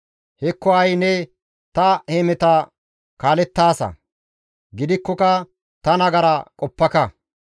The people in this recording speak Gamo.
Hekko ha7i ne ta hemeta kaalettaasa; gidikkoka ta nagara qoppaka.